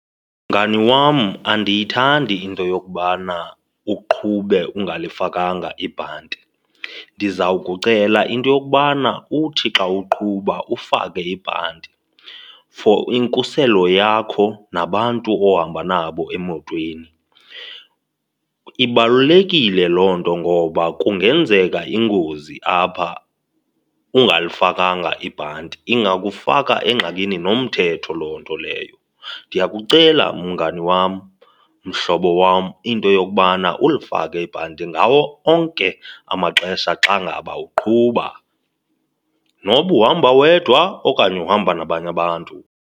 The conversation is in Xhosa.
Mngani wam, andiyithandi into yokubana uqhube ungalifakanga ibhanti. Ndizawukucela into yokubana uthi xa uqhuba ufake ibhanti for inkuselo yakho nabantu ohamba nabo emotweni. Ibalulekile loo nto ngoba kungenzeka ingozi apha, ungalifakanga ibhanti, ingakufaka engxakini nomthetho loo nto leyo. Ndiyakucela mngani wam, mhlobo wam, into yokubana ulifake ibhanti ngawo onke amaxesha xa ngaba uqhuba noba uhamba wedwa okanye uhamba nabanye abantu.